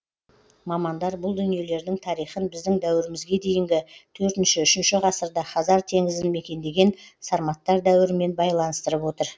мамандар бұл дүниелердің тарихын біздің дәуірімізге дейінгі төртінші үшінші ғасырда хазар теңізін мекендеген сарматтар дәуірімен байланыстырып отыр